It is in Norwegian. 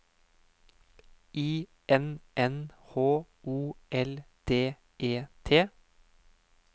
I N N H O L D E T